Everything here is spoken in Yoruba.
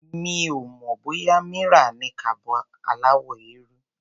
Mi ò mọ̀ bóyá Mira ní kaba aláwọ̀ eérú.